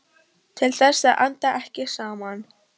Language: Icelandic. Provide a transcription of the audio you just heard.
Til þess að anda ekki saman.